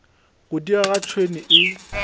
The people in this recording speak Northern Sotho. go diega ga tšhwene e